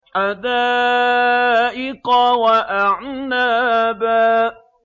حَدَائِقَ وَأَعْنَابًا